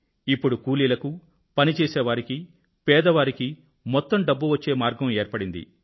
ఇప్పుడు కూలీలకు పని చేసేవారికీ పేదవారికి మొత్తం డబ్బు వచ్చే మార్గం ఏర్పడింది